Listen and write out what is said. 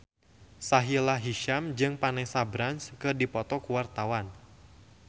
Sahila Hisyam jeung Vanessa Branch keur dipoto ku wartawan